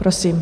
Prosím.